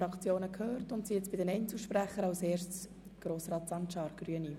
So entstünde ein Basar, und das wäre nicht zielführend.